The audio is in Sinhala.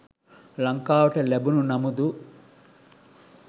ලංකාවට ලැබුණු නමුදු